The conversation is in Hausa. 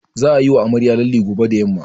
Za'a yiwa amaryar lalle gobe da yamma.